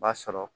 B'a sɔrɔ